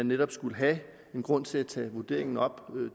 netop kunne være grund til at tage vurderingen op